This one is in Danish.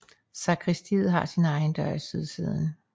Sakristiet har sin egen dør i sydsiden